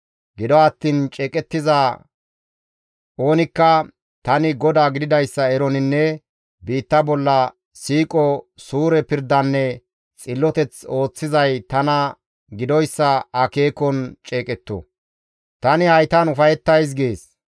Gido attiin ceeqettiza oonikka tani GODAA gididayssa eroninne biitta bolla siiqo, suure pirdanne xilloteth ooththizay tana gidoyssa akeekon ceeqetto. Tani haytan ufayettays» gees.